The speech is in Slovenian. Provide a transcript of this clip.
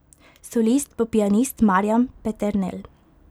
Solist bo pianist Marjan Peternel.